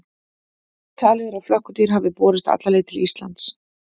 Talið er að flökkudýr hafi borist alla leið til Íslands.